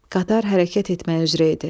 Qatar hərəkət etməyə üzrə idi.